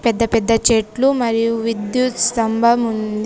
పెద్ద పెద్ద చెట్లు మరియు విద్యుత్ స్తంభం ఉంది.